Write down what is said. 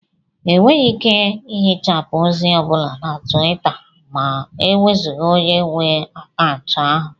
Enweghị ike ihichapụ ozi ọ bụla na Twita ma e wezụga onye nwe akaụntụ ahụ